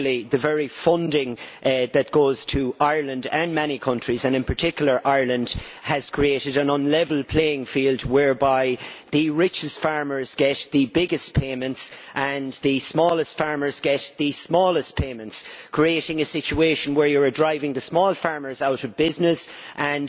The very funding that goes to many countries, and in particular Ireland, has created an un level playing field, whereby the richest farmers get the biggest payments and the smallest farmers get the smallest payments, creating a situation where you are driving the small farmers out of business and